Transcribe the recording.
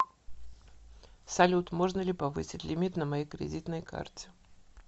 салют можно ли повысить лимит на моей кредитной карте